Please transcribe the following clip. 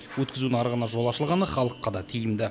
өткізу нарығына жол ашылғаны халыққа да тиімді